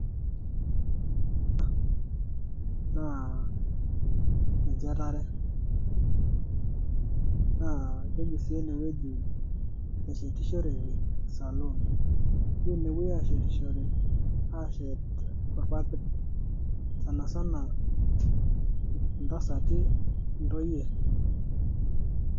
ena naa enchetare naa keji sii enewueji neshetishoreki saloon ewueji nepuoi aashetishore aashet irpapit sana sana intasati intoyie.